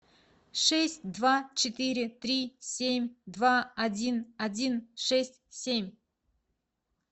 шесть два четыре три семь два один один шесть семь